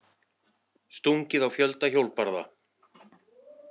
Stungið á fjölda hjólbarða